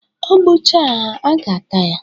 O gbucha ha, a ga-ata ya.